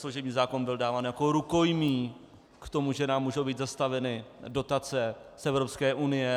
Služební zákon byl dáván jako rukojmí k tomu, že nám můžou být zastaveny dotace z Evropské unie.